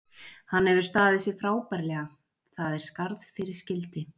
Hann hefur staðið sig frábærlega, það er skarð fyrir skildi.